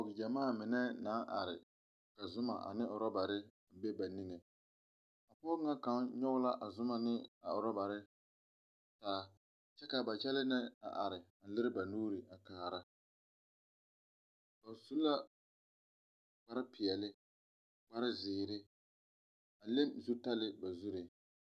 Pɔgegyamaa mine naŋ are, ka Zuma ane ɔrebberi a be ba niŋe a pɔge ŋa kaŋa nyɔge la Zuma ane ɔrebberi taa kyɛ kaa ba kyɛlɛ na are leri ba nuuri kaara ba su la kparepɛɛle, kparezeɛre, a leŋ zutarre ba zuriŋ.